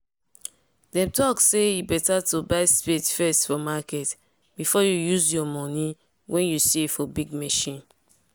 them talk say e better to buy spade first for market before you used your money wen you save for big machine